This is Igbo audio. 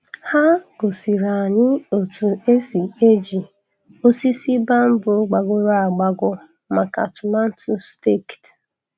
Ha gosiri anyị otu esi eji osisi bamboo gbagọrọ agbagọ maka tomato staked.